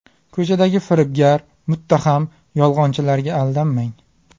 Ko‘chadagi firibgar, muttaham, yolg‘onchilarga aldanmang .